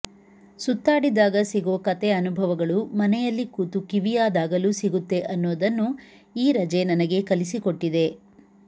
ಸುತ್ತಾಡಿದಾಗ ಸಿಗೋ ಕತೆ ಅನುಭವಗಳು ಮನೆಯಲ್ಲಿ ಕೂತು ಕಿವಿಯಾದಾಗಲೂ ಸಿಗುತ್ತೆ ಅನ್ನೋದನ್ನು ಈ ರಜೆ ನನಗೆ ಕಲಿಸಿಕೊಟ್ಟಿದೆ